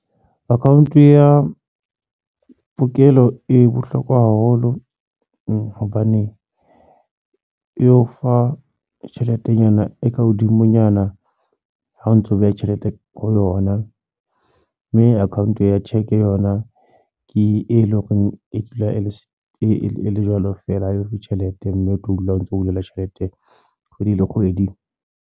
Account ya pokelo e bohlokwa haholo hobane e o fa tjheletenyana e ka hodimonyana ha o ntso beha tjhelete ho yona mme account ya check yona ke e leng hore e dula e le jwalo feela ha eyo tjhelete mme o tlo dula o ntso hulelwa tjhelete kgwedi le kgwedi.